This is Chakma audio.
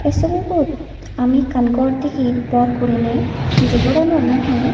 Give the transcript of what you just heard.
ei sobibot ami ekkan gor digir bor gurine jey goranot nahi.